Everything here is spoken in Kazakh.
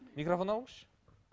микрофон алыңызшы